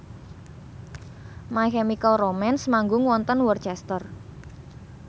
My Chemical Romance manggung wonten Worcester